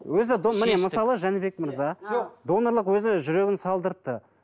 өзі міне мысалы жәнібек мырза донорлық өзі жүрегін салдыртты